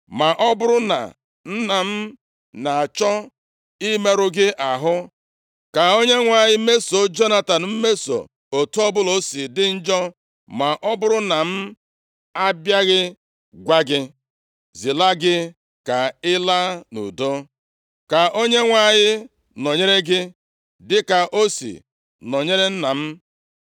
Ma ọ bụrụ na nna m na-achọ imerụ gị ahụ, ka Onyenwe anyị mesoo Jonatan mmeso, otu ọbụla o si dị njọ, ma ọ bụrụ na m abịaghị gwa gị, zilaga gị ka ị laa nʼudo. Ka Onyenwe anyị nọnyere gị dịka o si nọnyere nna m.